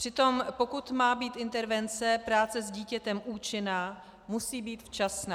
Přitom pokud má být intervence práce s dítětem účinná, musí být včasná.